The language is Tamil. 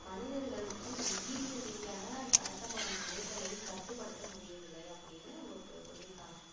மனிதர்களுக்கு உயிரியல் ரீதியான கடத்தப்படும் நோய்களை கட்டுபடுத்த முடியவில்லை அப்படின்னு ஒருத்தவர் சொல்லி இருக்காங்க